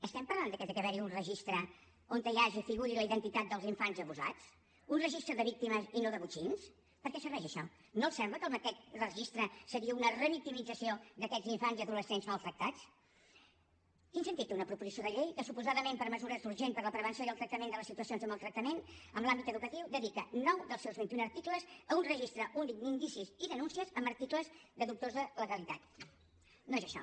estem parlant de que hi ha d’haver un registre on hi hagi i hi figuri la identitat dels infants abusats un registre de víctimes i no de botxins per què serveix això no els sembla que aquest registre seria una revictimització d’aquests infants i adolescents maltractats quin sentit té una proposició de llei que suposadament per mesures urgents per a la prevenció i el tractament de les situacions de maltractament en l’àmbit educatiu dedica nou dels seus vint i un articles a un registre únic d’indicis i denúncies amb articles de dubtosa legalitat no és això